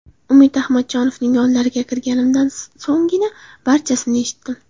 Umid Ahmadjonovning yonlariga kirganimdan so‘nggina barchasini eshitdim.